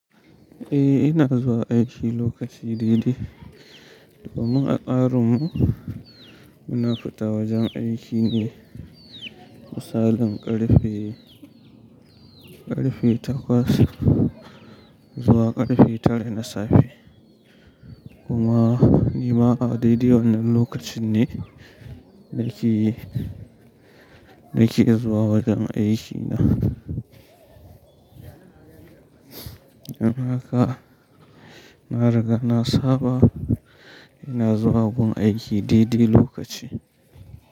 Eh ina zuwa aiki lokaci daidai. Domin a tsarinmu muna fita wajen aiki ne misalin ƙarfe, ƙarfe takwas zuwa ƙarfe tara na safe kuma ni ma daidai wannan lokacin ne nake, nake zuwa wajen aiki na amma haka na riga na saba ina zuwa gun aiki daidai lokaci.